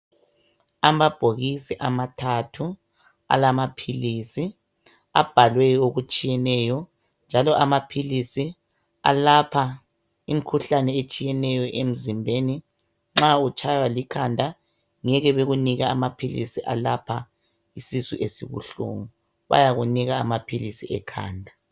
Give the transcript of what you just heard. amabhokisi amathathu alamaphilisi abhalwe okutshiyeneyo njalo amaphilisi alapha imikhuhlane etshiyeneyo emzimbeni nxa utshaywa likhanda ngeke bekunike amaphilisi alapha isisu esibuhlungu bayakunika amaphilisi ekhanda